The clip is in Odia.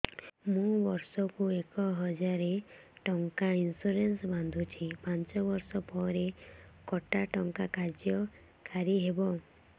ମୁ ବର୍ଷ କୁ ଏକ ହଜାରେ ଟଙ୍କା ଇନ୍ସୁରେନ୍ସ ବାନ୍ଧୁଛି ପାଞ୍ଚ ବର୍ଷ ପରେ କଟା ଟଙ୍କା କାର୍ଯ୍ୟ କାରି ହେବ